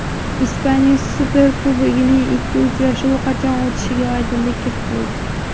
Ispaniya Superkubogining ikki uchrashuvi qachon o‘tishiga oydinlik kiritildi.